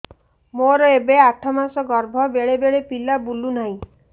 ମୋର ଏବେ ଆଠ ମାସ ଗର୍ଭ ବେଳେ ବେଳେ ପିଲା ବୁଲୁ ନାହିଁ